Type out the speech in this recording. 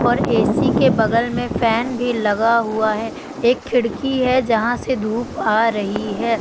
और ए_सी के बगल में फैन भी लगा हुआ हैं एक खिड़की है जहां से धूप आ रही है।